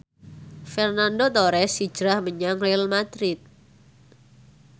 Fernando Torres hijrah menyang Real madrid